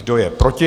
Kdo je proti?